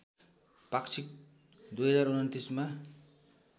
पाक्षिक २०२९ मा